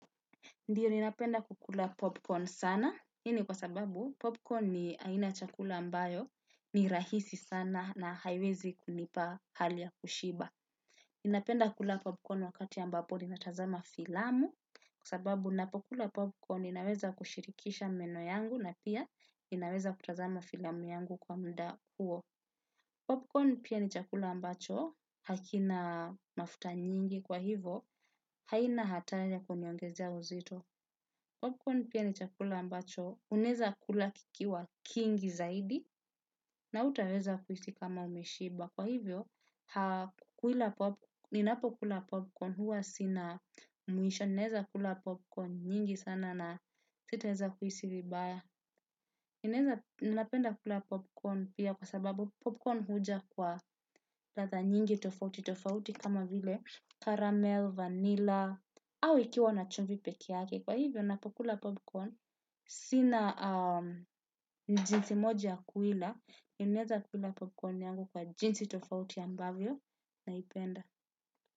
Ndio, ninapenda kukula popcorn sana, hii ni kwa sababu popcorn ni aina ya chakula ambayo ni rahisi sana na haiwezi kunipa hali ya kushiba. Ninapenda kula popcorn wakati ambapo ninatazama filamu, kwa sababu ninapokula popcorn ninaweza kushirikisha meno yangu na pia ninaweza kutazama filamu yangu kwa muda huo. Popcorn pia ni chakula ambacho, hakina mafuta nyingi kwa hivo, haina hatari ya kuniongezea uzito. Popcorn pia ni chakula ambacho, unaeza kula kikiwa kingi zaidi na hutaweza kuhisi kama umeshiba. Kwa hivyo, ninapokula popcorn huwa sina mwisho, naeza kula popcorn nyingi sana na sita weza kuhisi vibaya. Ninapenda kula popcorn pia kwa sababu popcorn huja kwa ladha nyingi tofauti, tofauti kama vile caramel, vanilla, au ikiwa na chumvi pekee yake. Kwa hivyo, napokula popcorn, sina jinsi moja ya kuila, ninaeza kuila popcorn yangu kwa jinsi tofauti ambavyo naipenda.